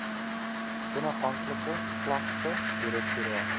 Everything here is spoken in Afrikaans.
onafhanklike klagte direktoraat